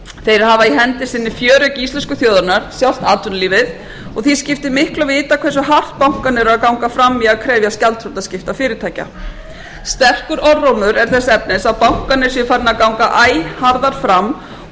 þeir hafa í hendi sinni fjöregg íslensku þjóðarinnar sjálft atvinnulífið og því skiptir miklu að vita hversu hátt bankarnir eru að ganga fram í krefjast gjaldþrotaskipta fyrirtækja sterkur orðrómur er þess efnis að bankarnir séu farnir að ganga æ harðar fram og að ný